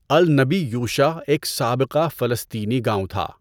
النبی یوشع ایک سابقہ فلسطینی گاؤں تھا۔